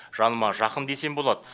жаныма жақын десем болады